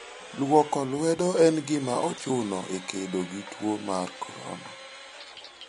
Luoko lwedo en gima ochuno e kedo gi tuo mar corona.